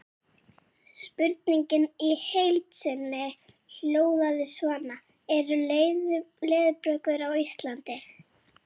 Spurningin í heild sinni hljóðaði svona: Eru leðurblökur á Íslandi?